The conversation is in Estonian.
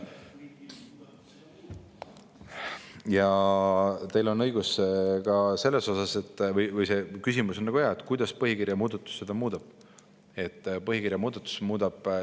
Ja teil on õigus ka selles, õigemini see on hea küsimus, kuidas põhikirja muudatus seda muudab.